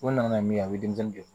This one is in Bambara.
O nana ni min ye a bɛ denmisɛnnin